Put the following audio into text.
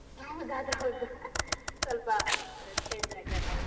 ಹೌದು. ಅದು ಹೌದು. ಸ್ವಲ್ಪ change ಆಗಿ ಅಲ್ವಾ ಹೌದು.